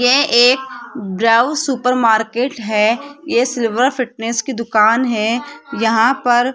यह एक ब्राउ सुपर मार्केट है ये सिल्वर फिटनेस की दुकान है यहां पर --